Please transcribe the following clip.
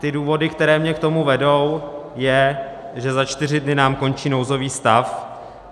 Ty důvody, které mě k tomu vedou, jsou, že za čtyři dny nám končí nouzový stav.